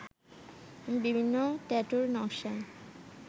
এবং বিভিন্ন ট্যাটুর নকশায়